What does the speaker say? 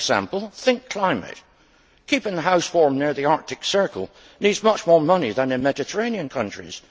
As an example, think climate' keeping a house warm near the Arctic Circle needs much more money than in Mediterranean countries.